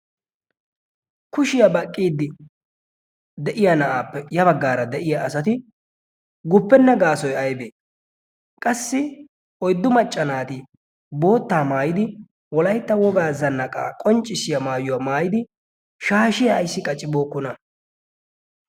kushiyaa baqqiiddi de'iya na'aappe ya baggaara de'iya asati guppenna gaasoi aibee qassi oyddu macca naati boottaa maayidi olaitta wogaa zannaqaa qonccissiyaa maayuwaa maayidi shaashiya ayssi qacibookkona?